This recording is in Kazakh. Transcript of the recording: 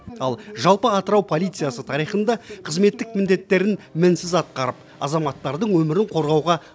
ал жалпы атырау полициясы тарихында қызметтік міндеттерін мінсіз атқарып азаматтардың өмірін қорғауға